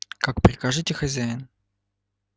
как прикажете хозяин